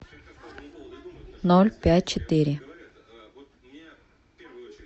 ноль пять четыре